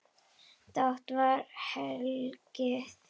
Dátt var hlegið.